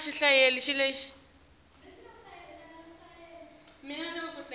sicelo kufanele abe